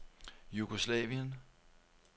Jugoslavien